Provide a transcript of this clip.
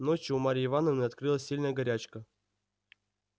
ночью у марьи ивановны открылась сильная горячка